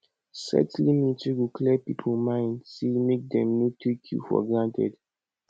set limit wey go clear pipo mind sey mek dem no take yu for granted